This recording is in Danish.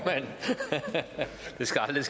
det